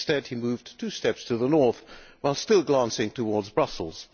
Instead he moved two steps to the north, while still glancing towards Brussels.